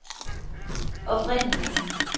oprindelige